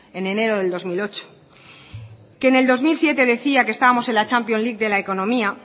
en enero de dos mil ocho que en el dos mil siete decía que estábamos en las champions league de la economía